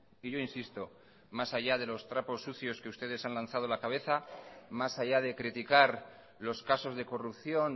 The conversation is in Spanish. y yo insisto más allá de los trapos sucios que ustedes han lanzado la cabeza más allá de criticar los casos de corrupción